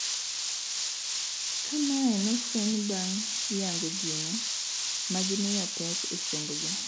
Ka mae nofuenyi bang' yango gino magimiyo pek e sombgi